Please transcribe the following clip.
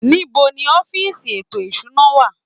Níbo ni ọ́fíìsì ètò ìṣúná wà?